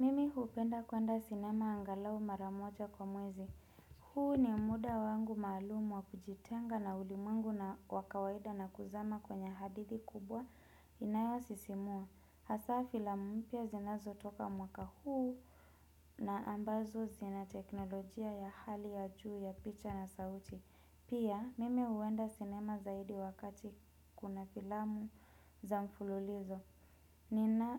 Mimi hupenda kuenda sinema angalau maramoja kwa mwezi. Huu ni muda wangu maalumu wa kujitenga na ulimungu na wakawaida na kuzama kwenye hadithi kubwa inayosisimua. Hasa filamu mpya zinazo toka mwaka huu na ambazo zina teknolojia ya hali ya juu ya picha na sauti. Pia huwenda sinema zaidi wakati kunafilamu za mfululizo. Nina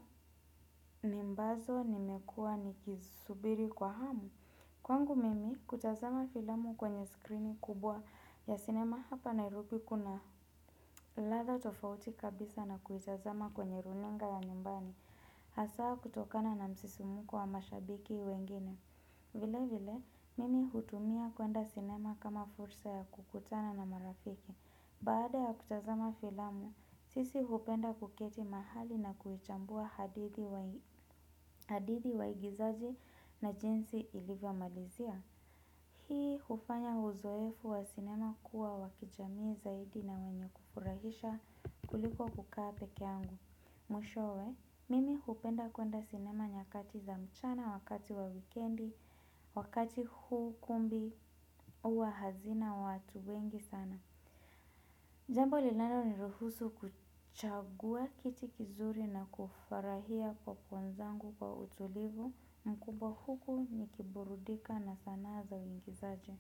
nimbazo nimekua nikisubiri kwa hamu. Kwangu mimi kutazama filamu kwenye skrini kubwa ya sinema hapa nairobi kuna latha tofauti kabisa na kuitazama kwenye runinga ya nyumbani. Hasaa kutokana na msisimuko wa mashabiki wengine vile vile mimi hutumia kwenda sinema kama fursa ya kukutana na marafiki. Baada ya kutazama filamu, sisi hupenda kuketi mahali na kuhichambua hadithi waigizaji na jinsi ilivyo malizia. Hii ufanya uzoefu wa sinema kuwa wa kijamii zaidi na wenye kufuraisha kuliko kukaa peke yangu. Mwishowe, mimi hupenda kuenda sinema nyakati za mchana wakati wa wikendi, wakati hukumbi uwa hazina watu wengi sana. Jambo linalo ni ruhusu kuchagua kiti kizuri na kufarahia popcorn zangu kwa utulivu na kubahuku ni kiburudika na sana za wingizaje.